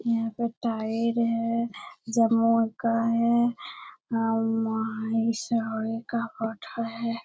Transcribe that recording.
यहां पर टायर है जमऊ का है --